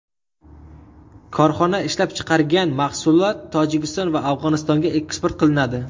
Korxona ishlab chiqargan mahsulot Tojikiston va Afg‘onistonga eksport qilinadi.